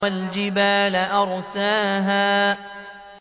وَالْجِبَالَ أَرْسَاهَا